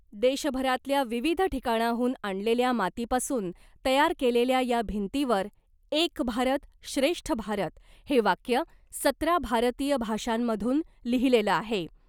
देशभरातल्या विविध ठिकाणाहून आणलेल्या मातीपासून तयार केलेल्या या भिंतीवर एक भारत श्रेष्ठ भारत हे वाक्य सतरा भारतीय भाषांमधून लिहिलेलं आहे .